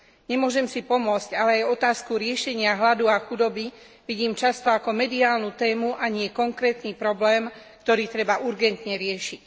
Nemôžem si pomôcť, ale aj otázku riešenia hladu a chudoby vidím často ako mediálnu tému, a nie konkrétny problém, ktorý treba urgentne riešiť.